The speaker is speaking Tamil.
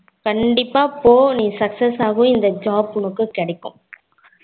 கண்டிப்பா போ நீ success ஆகுவ இந்த job உனக்கு கிடைக்கும்